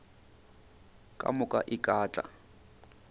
ka moka e ka tla